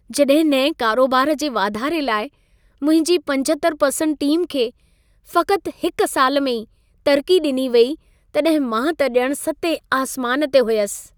जॾहिं नएं करोबार जे वाधारे लाइ मुंहिंजी 75% टीम खे फ़क़्तु हिक साल में ई तरक़ी ॾिनी वेई, तॾहिं मां त ॼणु सतें आसमान ते हुयसि।